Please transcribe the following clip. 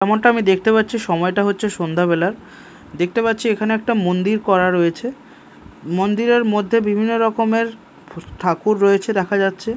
যেমনটা আমি দেখতে পাচ্ছি সময়টা হচ্ছে সন্ধ্যাবেলার দেখতে পাচ্ছি এখানে একটা মন্দির করা রয়েছে মন্দিরের মধ্যে বিভিন্ন রকমের ফু ঠাকুর রয়েছে দেখা যাচ্ছে।